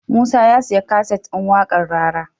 Musa ya siya kaset din waƙar rara